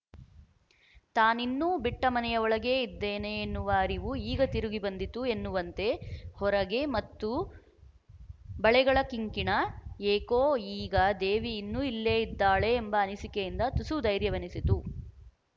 ತಾನಿನ್ನೂ ಬಿಟ್ಟ ಮನೆಯ ಒಳಗೇ ಇದ್ದೇನೆ ಎನ್ನುವ ಅರಿವು ಈಗ ತಿರುಗಿ ಬಂದಿತು ಎನ್ನುವಂತೆ ಹೊರಗೆ ಮತ್ತು ಬಳೆಗಳ ಕಿಂಕಿಣ ಏಕೋ ಈಗ ದೇವಿ ಇನ್ನೂ ಇಲ್ಲೇ ಇದ್ದಾಳೆ ಎಂಬ ಅನಸಿಕೆಯಿಂದ ತುಸು ಧೈರ್ಯವೆನಿಸಿತು